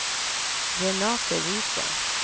Renate Viken